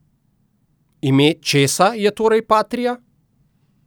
Ime česa je torej patria?